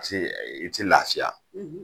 I te i te lafiya